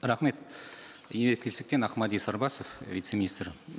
рахмет ақмәди сарбасов вице министр